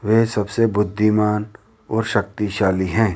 वे सबसे बुद्धिमान और शक्तिशाली है।